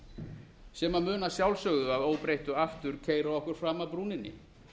hjólfarapólitíkinni sem mun að sjálfsögðu að óbreyttu aftur keyra okkur fram af brúninni